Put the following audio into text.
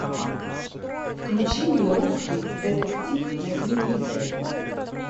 включи мне русский детектив на телевизоре